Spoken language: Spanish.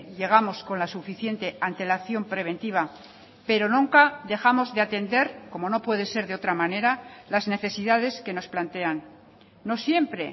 llegamos con la suficiente antelación preventiva pero nunca dejamos de atender como no puede ser de otra manera las necesidades que nos plantean no siempre